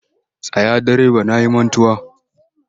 Tsaya direba na yi mantuwa!